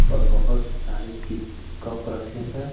और बहुत सारे कित कप रखे हैं।